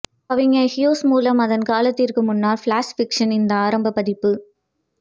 கவிஞர் ஹியூஸ் மூலம் அதன் காலத்திற்கு முன்னர் ஃப்ளாஷ் ஃபிக்ஷனின் இந்த ஆரம்ப பதிப்பு